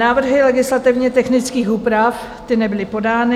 Návrhy legislativně technických úprav - ty nebyly podány.